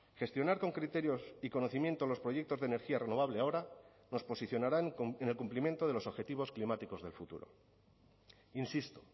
gestionar con criterios y conocimiento los proyectos de energía renovable ahora nos posicionarán en el cumplimiento de los objetivos climáticos del futuro insisto